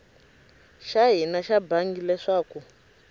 xa hina xa bangi leswaku